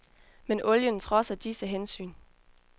Men olien trodser disse hensyn.